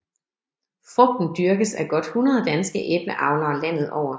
Frugten dyrkes af godt 100 danske æbleavlere landet over